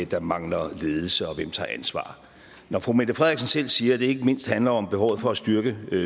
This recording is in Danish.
der mangler ledelse og hvem tager ansvar når fru mette frederiksen selv siger at det ikke mindst handler om behovet for at styrke